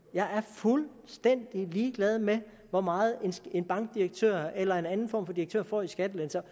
jeg er fuldstændig ligeglad med hvor meget en bankdirektør eller en anden form for direktør får i skattelettelser